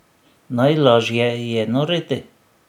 Najlažje je noreti.